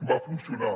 va funcionar